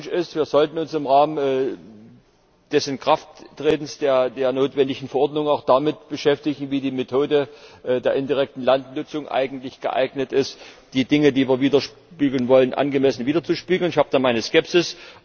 Der erste Wunsch ist Wir sollten uns im Rahmen des Inkrafttretens der notwendigen Verordnung auch damit beschäftigen, wie die Methode der indirekten Landnutzung eigentlich geeignet ist, die Dinge, die wir widerspiegeln wollen, angemessen widerzuspiegeln. Ich habe da meine Skepsis.